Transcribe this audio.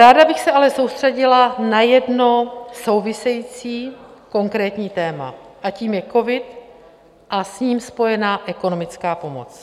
Ráda bych se ale soustředila na jedno související konkrétní téma, a tím je covid a s ním spojená ekonomická pomoc.